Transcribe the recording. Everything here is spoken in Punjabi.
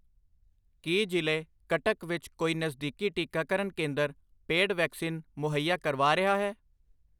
ਕੀ ਜ਼ਿਲੇ ਕਟਕ ਵਿੱਚ ਕੋਈ ਨਜ਼ਦੀਕੀ ਟੀਕਾਕਰਨ ਕੇਂਦਰ ਪੇਡ ਵੈਕਸੀਨ ਮੁਹੱਈਆ ਕਰਵਾ ਰਿਹਾ ਹੈ?